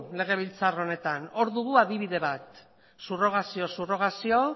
legebiltzar honetan hor dugu adibide bat subrogazioz subrogazio